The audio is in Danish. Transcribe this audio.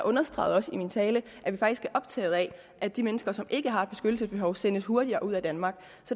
understregede også i min tale at vi faktisk er optaget af at de mennesker som ikke har et beskyttelsesbehov sendes hurtigere ud af danmark